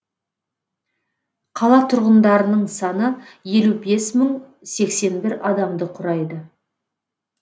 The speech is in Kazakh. қала тұрғындарының саны елу бес мың сексен бір адамды құрайды